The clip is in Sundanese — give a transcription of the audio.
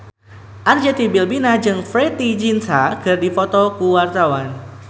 Arzetti Bilbina jeung Preity Zinta keur dipoto ku wartawan